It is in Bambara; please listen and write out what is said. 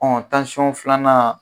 filanan